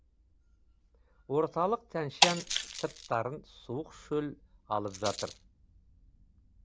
орталық тәнь шан сырттарын суық шөл алып жатыр